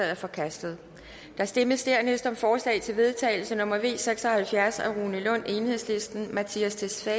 er forkastet der stemmes dernæst om forslag til vedtagelse nummer v seks og halvfjerds af rune lund mattias tesfay